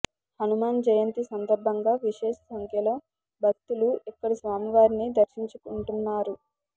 హనుమజ్జయంతి సందర్భంగా విశేష సంఖ్యలో భక్తులు ఇక్కడి స్వామివారిని దర్శింకుంటున్నారన్నారు